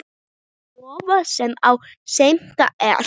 Vofa, sem á sveimi er.